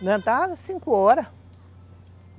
Levantava cinco horas.